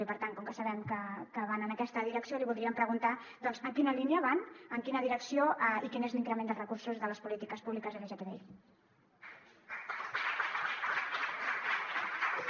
i per tant com que sabem que van en aquesta direcció li voldríem preguntar doncs en quina línia van en quina direcció i quin és l’increment dels recursos de les polítiques públiques lgtbi